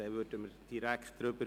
Dann stimmen wir direkt ab.